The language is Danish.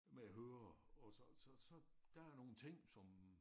Med høre og så så så der er nogle ting som